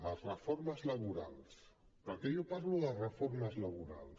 les reformes laborals perquè jo parlo de reformes laborals